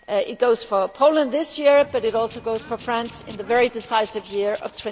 That goes for Poland this year but it also goes for France in the very decisive year of